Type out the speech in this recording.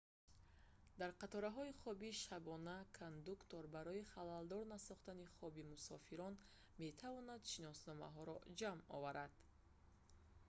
дар қатораҳои хоби шабона кондуктор барои халалдор насохтани хоби мусофирон метавонад шиносномаҳоро ҷамъ оварад